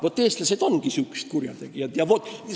Äkki eestlased ongi sellised kurjategijad?